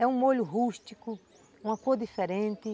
É um molho rústico, uma cor diferente.